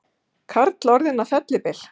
Karl orðinn að fellibyl